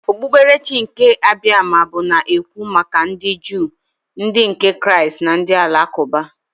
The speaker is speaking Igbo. Okpukperechi nke Abiama bụ na-ekwu maka ndị Juu, ndị nke Kraịst na ndị Alakụba.